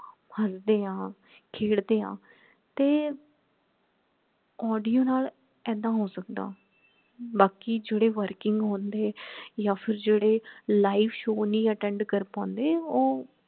ਹਸਦੇ ਹਾਂ ਖੇਡਦੇ ਹਾਂ ਤੇ audio ਨਾਲ ਏਦਾਂ ਹੋ ਸਕਦਾ ਬਾਕੀ ਜੇਡੇ working ਹੁੰਦੇ ਯਾ ਫੇਰ ਜੇਡੇ live show ਨਹੀਂ attend ਕਰ ਪਾਂਦੇ ਉਹ